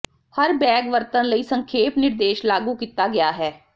ਹਰ bag ਵਰਤਣ ਲਈ ਸੰਖੇਪ ਨਿਰਦੇਸ਼ ਲਾਗੂ ਕੀਤਾ ਗਿਆ ਹੈ